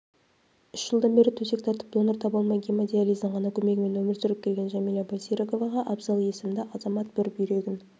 үш жылдан бері төсек тартып донор таба алмай гемодиализдің ғана көмегімен өмір сүріп келген жәмила байсеріковаға абзал есімді азамат бір бүйрегін